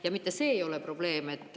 Ja mitte see ei ole probleem.